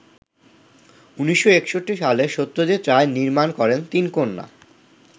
১৯৬১ সালে সত্যজিৎ রায় নির্মাণ করেন ‘তিনকন্যা’।